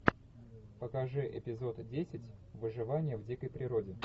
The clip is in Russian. покажи эпизод десять выживание в дикой природе